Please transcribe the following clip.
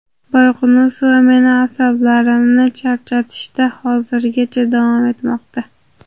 Boyqunusova meni asablarimni charchatishda hozirgacha davom etmoqda.